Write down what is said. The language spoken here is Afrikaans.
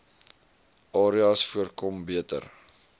areas voorkom beter